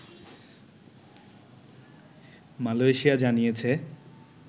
Malaysia জানিয়েছে